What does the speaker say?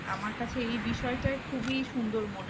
আমার কাছে এই বিষয়টাই খুবই সুন্দর মনে